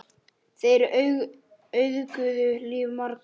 Þeir auðguðu líf margra.